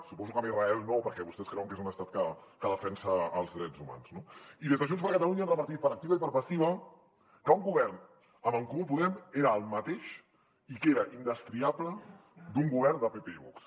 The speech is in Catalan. suposo que amb israel no perquè vostès creuen que és un estat que defensa els drets humans no i des de junts per catalunya han repetit per activa i per passiva que un govern amb en comú podem era el mateix i que era indestriable d’un govern de pp i vox